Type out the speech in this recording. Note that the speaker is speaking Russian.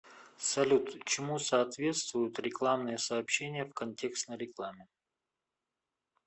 салют чему соответствуют рекламные сообщения в контекстной рекламе